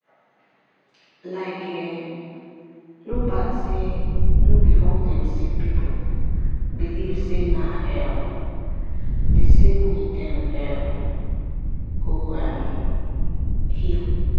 likee no bad say no be all dem sick pipu believe say na um the same way dem um go um heal.